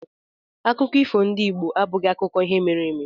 Akụkọ ifo ndị Igbo abụghị akụkọ ihe mere eme